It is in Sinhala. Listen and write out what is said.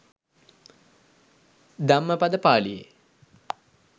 ධම්මපද පාලියේ